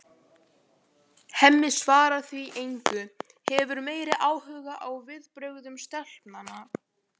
Hemmi svarar því engu, hefur meiri áhuga á viðbrögðum stelpnanna.